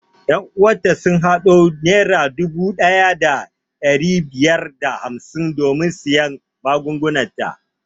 Ƴan uwan ta sun haɗo naira dubu ɗaya da ɗari biyar da hamsin don siyan magungunan ta